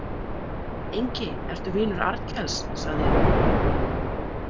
Engi ertu vinur Arnkels, sagði ég þá.